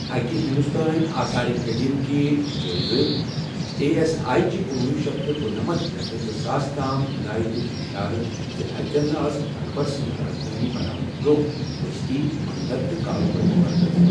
اكہِ ہندوستٲنۍ آثارِ قدیمہٕ كہِ جٲیزٕ اے ایس آے چہِ کنوُہ شیٚتھ کُنٛنمتھ پیٹھٕ زٕ ساس تام خُدایہ دِیت اِشارٕ زِ اتٮ۪ن ٲس اكبر سٕنٛدۍ رازدٲنۍ بناونہٕ برٛونٛہہ بٔستی، منٛدر تہٕ كاربٲرۍ مركز